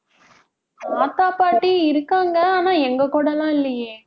தாத்தா, பாட்டி இருக்காங்க. ஆனா எங்க கூட எல்லாம் இல்லையே